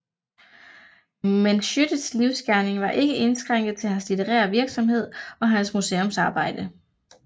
Men Schiødtes livsgerning var ikke indskrænket til hans litterære virksomhed og hans museumsarbejde